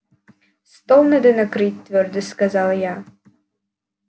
стол надо накрыть твёрдо сказала я